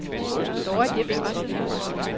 Dorrit Jepsen